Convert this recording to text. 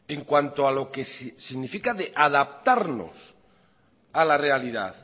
en cuanto a lo que significa de adaptarnos a la realidad